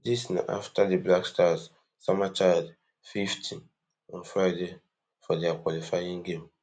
dis na afta di blackstars sama chad fifty on friday for dia qualifying game